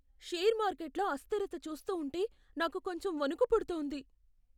Share మార్కెట్లో అస్థిరత చూస్తూ ఉంటే నాకు కొంచెం వణుకు పుడుతోంది.